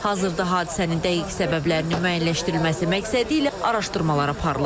Hazırda hadisənin dəqiq səbəblərinin müəyyənləşdirilməsi məqsədilə araşdırmalar aparılır.